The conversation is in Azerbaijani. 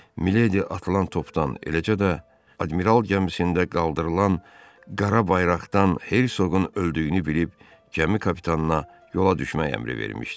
Miledi atılan topdan eləcə də admiral gəmisində qaldırılan qara bayraqdan Hersoqun öldüyünü bilib gəmi kapitanına yola düşmək əmri vermişdi.